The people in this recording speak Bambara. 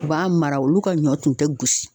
U b'a mara olu ka ɲɔ tun tɛ gosi